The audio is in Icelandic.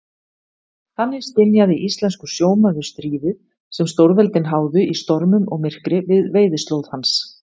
Þannig skynjaði íslenskur sjómaður stríðið, sem stórveldin háðu í stormum og myrkri við veiðislóð hans.